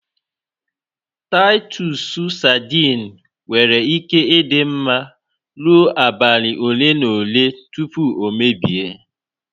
Taịtọs sadin nwere ike ị dị mma rụọ abalị ole na ole tupu o mebie